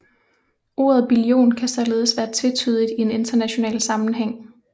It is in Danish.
Ordet billion kan således være tvetydigt i en international sammenhæng